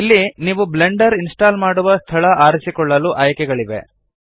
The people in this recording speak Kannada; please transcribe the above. ಇಲ್ಲಿ ನೀವು ಬ್ಲೆಂಡರ್ ಇನ್ಸ್ಟಾಲ್ ಮಾಡುವ ಸ್ಥಳ ಆರಿಸಿಕೊಳ್ಳಲು ಆಯ್ಕೆಗಳಿವೆ